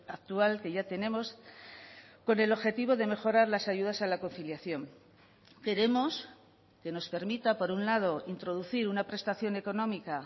actual que ya tenemos con el objetivo de mejorar las ayudas a la conciliación queremos que nos permita por un lado introducir una prestación económica